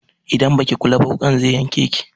Idan baki kula ba wuƙan zai yanke ki.